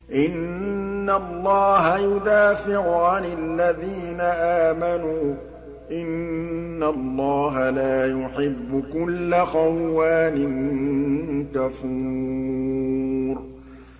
۞ إِنَّ اللَّهَ يُدَافِعُ عَنِ الَّذِينَ آمَنُوا ۗ إِنَّ اللَّهَ لَا يُحِبُّ كُلَّ خَوَّانٍ كَفُورٍ